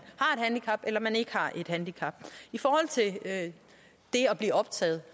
handicap eller ikke har et handicap i forhold til at blive optaget